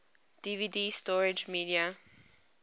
dvd storage media